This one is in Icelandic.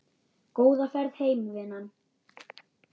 Góða ferð heim vinan.